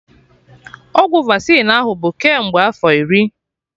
Ọgwụ Vasịn ahụ bụ kemgbe afọ iri!